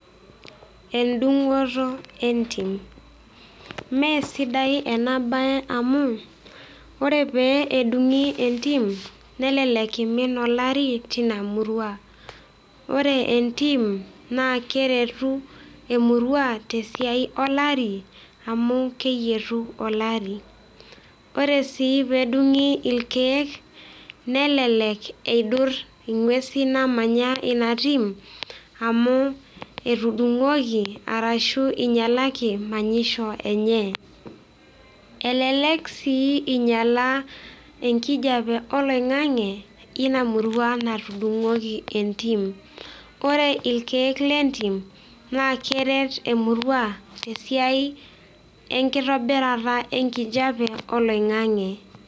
Endungoto entimnmee esidai ena baye amuu ore pee edung'i entim nelelek eimin elari teina murua, ore entim naa keretu emurua te siaai olari amuu keyeru olari, ore sii peedung'i irkeek nelelek eidurr ng'wesi naamanya ina tiim amuu etudung'oki arashu einyalaki manyisho enyee. Elelek sii inyalaa inkijepe oliang'ang'e eina murua natudung'oki entiim, ore irkeek le intim na keeret emurua te siaai enkitobirata enkijape olaing'ang'e.